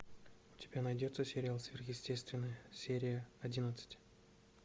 у тебя найдется сериал сверхъестественное серия одиннадцать